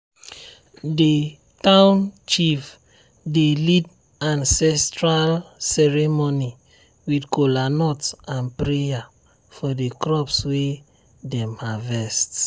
the town chief dey lead ancestral ceremony with kola nut and prayer for the crops wey dem harvest.